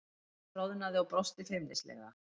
Elísa roðnaði og brosti feimnislega.